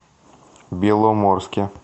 беломорске